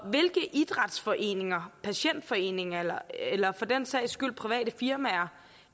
idrætsforeninger patientforeninger eller for den sags skyld private firmaer